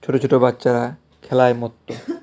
ছোট ছোট বাচ্চারা খেলায় মত্ত .